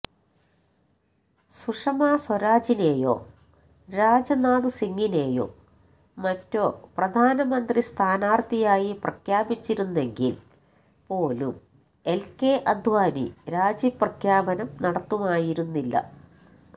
സുഷ്മാ സ്വരാജിനെയോ രാജ്നാഥ് സിംഗിനെയോ മറ്റോ പ്രധാനമന്ത്രി സ്ഥാനാര്ഥിയായി പ്രഖ്യാപിച്ചിരുന്നെങ്കില് പോലും എല് കെ അഡ്വാനി രാജിപ്രഖ്യാപനം നടത്തുമായിരുന്നില്ല